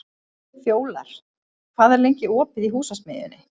Fjólar, hvað er lengi opið í Húsasmiðjunni?